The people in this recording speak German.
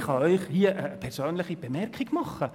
Ich kann Ihnen hier eine persönliche Bemerkung anfügen: